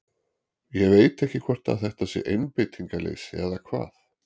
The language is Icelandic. Ég veit ekki hvort þetta sé einbeitingarleysi eða hvað?